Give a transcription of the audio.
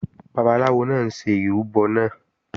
Babaláwo náà ń ṣe ìrúbọ náà